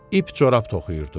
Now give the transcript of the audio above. İp corab toxuyurdu.